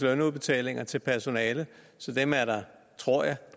lønudbetalinger til personale og dem er der tror jeg